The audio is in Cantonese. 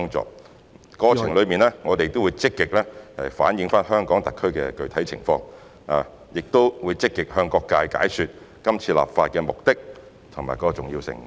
在立法過程中，我們會積極反映香港特區的具體情況，並積極向各界解說是次立法目的及其重要性。